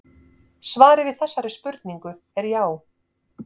Svarið við þessari spurningu er já.